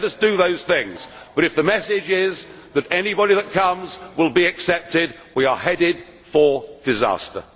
Let us do those things, but if the message is that anybody that comes will be accepted, we are headed for disaster.